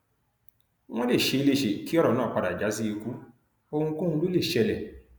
wọn lè ṣe é léṣe kí ọrọ náà padà já sí ikú ohunkóhun ló lè ṣẹlẹ